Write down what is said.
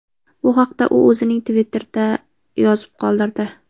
Bu haqda u o‘zining Twitter’ida yozib qoldirdi .